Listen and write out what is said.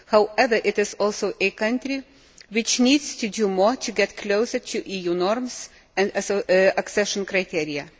However, it is also a country which needs to do more to get closer to EU norms and accession criteria.